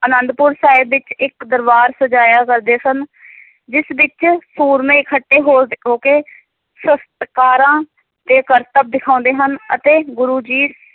ਆਨੰਦਪੁਰ ਸਾਹਿਬ ਵਿੱਚ ਇੱਕ ਦਰਬਾਰ ਸਜਾਇਆ ਕਰਦੇ ਸਨ ਜਿਸ ਵਿੱਚ ਸੂਰਮੇ ਇਕੱਠੇ ਹੋ, ਹੋ ਕੇ ਸ਼ਸਤਕਾਰਾਂ ਦੇ ਕਰਤੱਬ ਦਿਖਾਉਂਦੇ ਹਨ ਅਤੇ ਗੁਰੂ ਜੀ